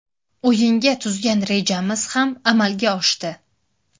O‘yinga tuzgan rejamiz ham amalga oshdi.